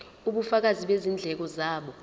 ubufakazi bezindleko zabo